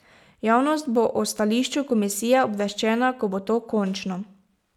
Javnost bo o stališču komisije obveščena, ko bo to končno.